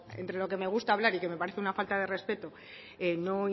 entre lo que me gusta hablar y que me parece una falta de respeto no